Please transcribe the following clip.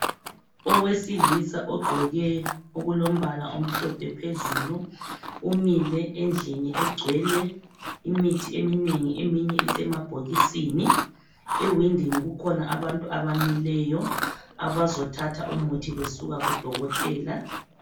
Owesilisa ogqoke okulombala omhlophe phezulu umile endlini egcwele imithi eminengi eminye isemabhokisini ewindini kukhona abantu abamileyo abazothatha umuthi besuka kudokotela.